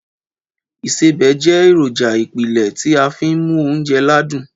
Ìsebẹ̀ jẹ́ èròjà ìpìlẹ̀ tí a n fi mu oúnjẹ ládún.